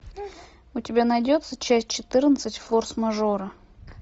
у тебя найдется часть четырнадцать форс мажора